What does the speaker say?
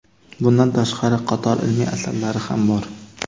Bundan tashqari qator ilmiy asarlari ham bor.